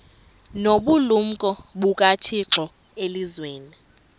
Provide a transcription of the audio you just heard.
nobulumko bukathixo elizwini